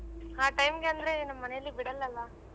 ಆ time ಗೆ ಅಂದ್ರೆ ನಮ್ ಮನೇಲಿ ಬಿಡಲ್ಲ ಅಲ್ಲ.